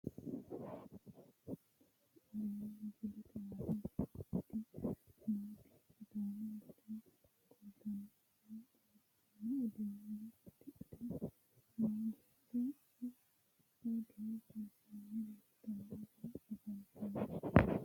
Tini aleenni misilete aana leeltanni noonketi sidaamu bude kultanno woyi xawissanno uddano uddidhe noo beetto odoo sayissanni leeltanno woyi afantanno